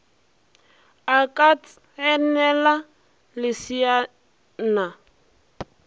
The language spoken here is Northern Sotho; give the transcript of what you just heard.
a ka ts enela leseana